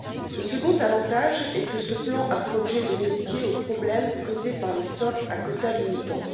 Le second avantage est que ce plan a pour objet de remédier aux problèmes causés par les stocks à quotas limitants.